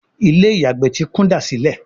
Ilé-ìyàgbé tí kúndàsílẹ̀